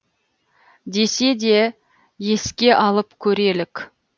десе де еске алып көрелік